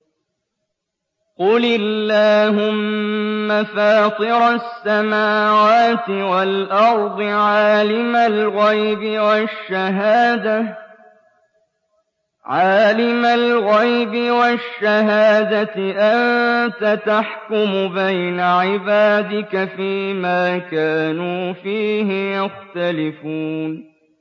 قُلِ اللَّهُمَّ فَاطِرَ السَّمَاوَاتِ وَالْأَرْضِ عَالِمَ الْغَيْبِ وَالشَّهَادَةِ أَنتَ تَحْكُمُ بَيْنَ عِبَادِكَ فِي مَا كَانُوا فِيهِ يَخْتَلِفُونَ